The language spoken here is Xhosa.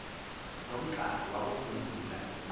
nomqhagi wakuvumbulula into